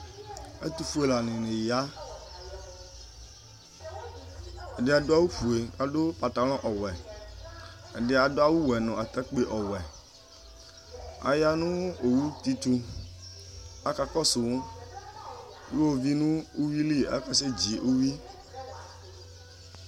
Ɛtʋfue lanini ya ɛdi adʋ awʋfue adʋ patalɔ ɔwɛ ɛdi adʋ awʋwe nʋ atakpewɛ aya nʋ owudi tʋ akakɔsʋ iwovi nʋ uwili akasedzi uwi